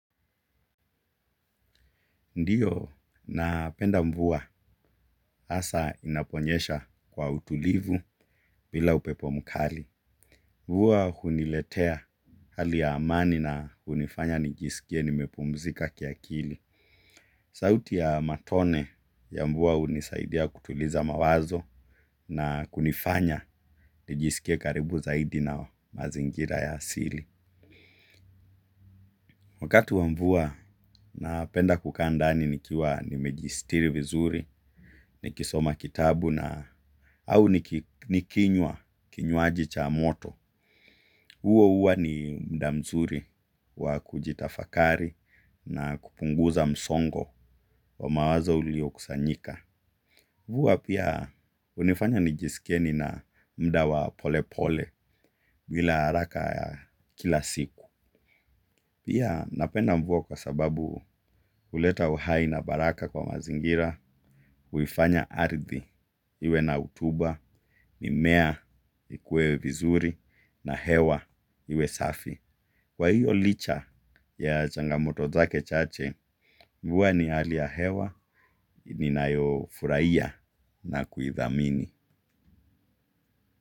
Ndiyo na penda mvua hasa inaponyesha kwa utulivu bila upepo mkali. Mvua huniletea hali ya amani na hunifanya nijisikie nimepumzika kiakili. Sauti ya matone ya mvua hunisaidia kutuliza mawazo na hunifanya nijisikie karibu zaidi na mazingira ya asili. Wakati wa mvua napenda kukaa ndani nikiwa nimejisitiri vizuri, nikisoma kitabu na au nikinywa, kinywaji cha moto. Huwa ni muda mzuri wa kujitafakari na kupunguza msongo wa mawazo ulio kusanyika. Mvua pia hunifanya nijisikie nina muda wa pole pole bila haraka ya kila siku. Pia napenda mvua kwa sababu huleta uhai na baraka kwa mazingira, huifanya ardhi, iwe na rutuba, mimea vikue vizuri, na hewa iwe safi. Kwa hiyo licha ya changamoto zake chache, mvua ni hali ya hewa, ninayofurahia na kuhithamini.